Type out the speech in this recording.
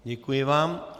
Děkuji vám